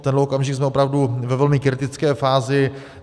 V tenhle okamžik jsme opravdu ve velmi kritické fázi.